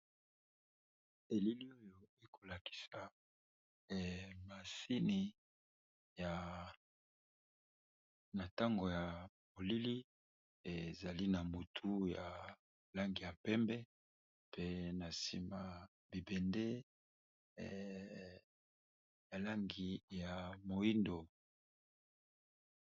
Elili oyo ekolakisa emasini ya ntango ya molili ezali na motu ya langi ya pembe pe na nsima bibende a langi ya mwindo.